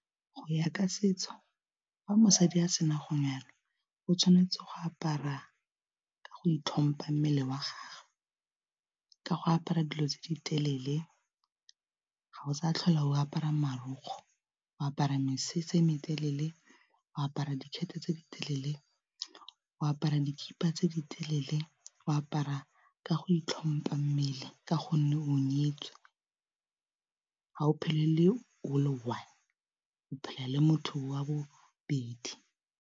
Go ya ka setso fa mosadi a sena go nyalwa o tshwanetse go apara ka go itlhompa mmele wa gagwe, ka go apara dilo tse di telele ga go sa tlhola o apara marukgwe o apara mesese e me telele, o apara dikgete tse di telele, o apara dikipa tse di telele, o apara ka go itlhompa mmele ka gonne o nyetswe ga o phele le one o phela le motho wa bobedi.